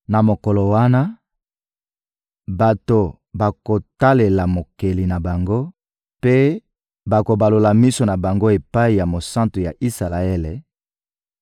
Na mokolo wana, bato bakotalela Mokeli na bango mpe bakobalola miso na bango epai ya Mosantu ya Isalaele;